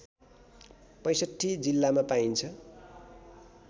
६५ जिल्लामा पाइन्छ